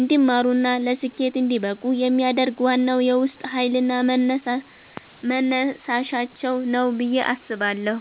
እንዲማሩና ለስኬት እንዲበቁ የሚያደርግ ዋናው የውስጥ ኃይልና መነሳሻቸው ነው ብዬ አስባለሁ።